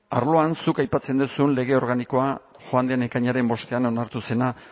arloan zuk aipatzen duzun lege organikoa joan den ekainaren bostean onartu zena